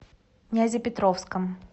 нязепетровском